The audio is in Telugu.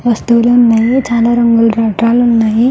వస్తువులు ఉన్నాయి. చాలా రంగుల రాట్నాలు ఉన్నాయి.